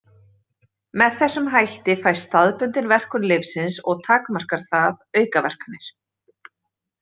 Með þessum hætti fæst staðbundin verkun lyfsins og takmarkar það aukaverkanir.